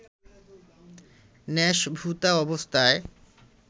ন্যাসভূতা অবস্থায়